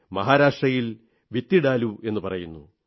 മഹാരാഷ്ട്രയിൽ വിത്തിഡാലൂ എന്നു പറയുന്നു